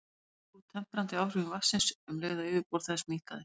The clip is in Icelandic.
Það dró úr temprandi áhrifum vatnsins um leið og yfirborð þess minnkaði.